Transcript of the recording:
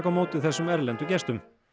á móti þessum erlendu gestum